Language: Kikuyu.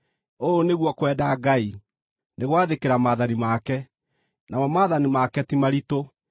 Ũũ nĩguo kwenda Ngai: nĩ gwathĩkĩra maathani make. Namo maathani make ti maritũ,